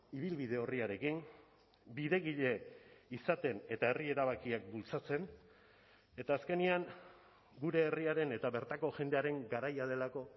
ibilbide orriarekin bidegile izaten eta herri erabakiak bultzatzen eta azkenean gure herriaren eta bertako jendearen garaia delako